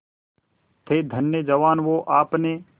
थे धन्य जवान वो आपने